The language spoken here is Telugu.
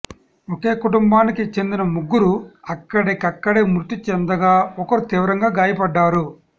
ఒకే కుటుంబానికి చెందిన ముగ్గురు అక్కడిక్కడే మృతి చెందగా ఒకరు తీవ్రంగా గాయపడ్డారు